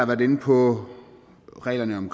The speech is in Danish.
været inde på reglerne om